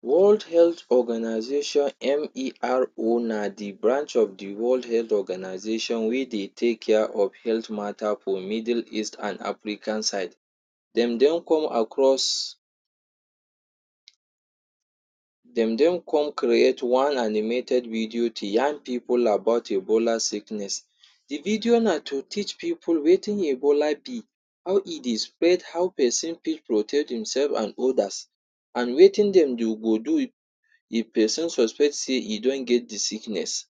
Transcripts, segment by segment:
World Health Organization MERO na de branch of de World Health Organization wey dey take care of health matter for Middle East and African side. Dem don come across dem don come create one animated video to yarn pipu about Ebola sickness. De video na to teach pipu wetin Ebola be, how e dey spread, how person fit protect themself and others and wetin dem dey go do if person suspect sey e don get de sickness.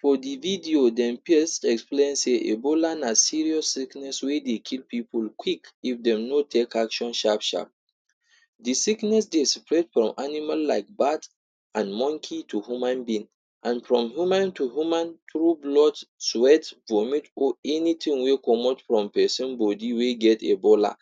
For de video dem pirst explain sey Ebola na serious sickness wey dey kill pipu quick if dem no take action sharp sharp. De sickness dey spread from animal like bat and monkey to human being and from human to human through blood, sweat, vomit or anything wey comot from person body wey get Ebola.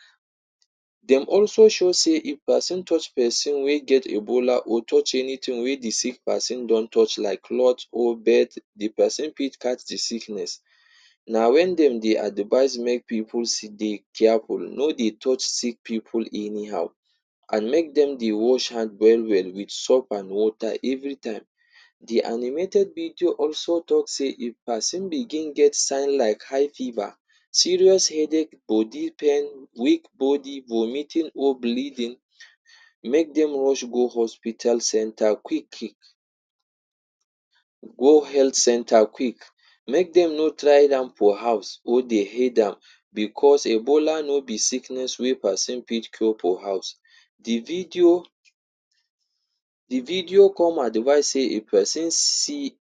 Dem also show sey if person touch person wey get Ebola or touch anything wey de sick person don touch like cloth or bed, de person fit catch de sickness. Na wen dem dey advice make pipu dey careful. No dey touch sick pipu anyhow and make dem dey wash hand well well wit soap and water every time. De animated video also talk sey if person begin get sign like high fever, serious headache or deep pain, weak body, vomiting or bleeding, make dem rush go hospital centre quick quick, go health centre quick. Make dem no try for house or dey down because Ebola no be sickness wey person fit cure for house. De video, de video come advice sey if person see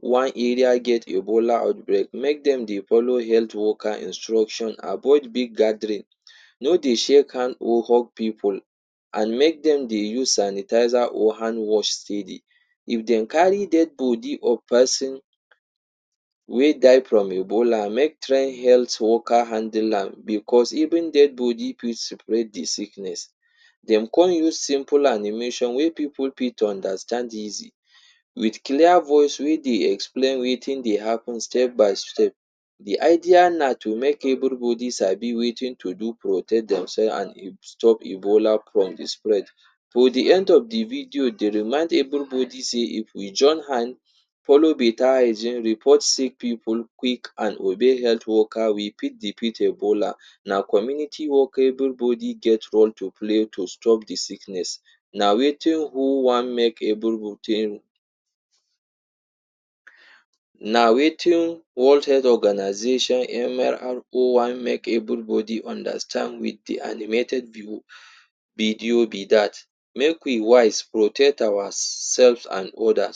one area get Ebola outbreak, make dem dey follow health worker instruction. Avoid big gathering. No dey shake hand or hug pipu and make dem dey use sanitizer or hand wash sey. If dem carry dead body or person wey die from Ebola, make try health worker handle am because even dead body fit spread de sickness. Den come use simple animation wey pipu fit understand easy wit clear voice wey dey explain wetin dey happen step by step. De idea na to make everybody sabi wetin to do protect themself and stop Ebola from de spread. For de end of de video, dey remind everybody sey if we join hand follow better hygiene, report sick pipu quick and obey health worker we fit defeat Ebola. Na community work, everybody get role to play to stop de sickness. Na wetin WHO wan make everybody Na wetin World Health Organization wan make everybody understand wit de animated video be dat. Make we wise, protect ourself and others.